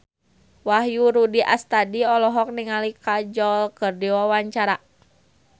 Wahyu Rudi Astadi olohok ningali Kajol keur diwawancara